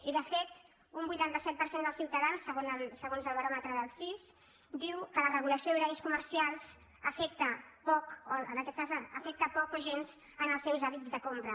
i de fet un vuitanta set per cent dels ciutadans segons el baròmetre del cis diu que la regulació d’horaris comercials en aquest cas afecta poc o gens els seus hàbits de compra